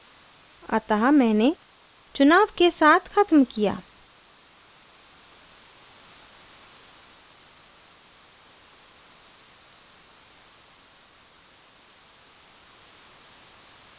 अतः मैंने चुनाव के साथ ख़त्म किया